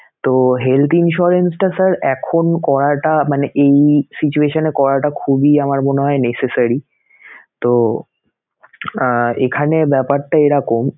তো health insurance টা sir এখন করাটা মানে এই situation এ করাটা খুবই আমার মনে হয় necessary তো আহ এখানে ব্যাপারটা এরকম